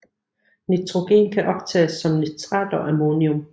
Nitrogen kan optages som nitrat og ammonium